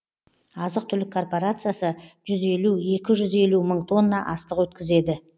азық түлік корпорациясы жүз елу екі жүз елу мың тонна астық өткізеді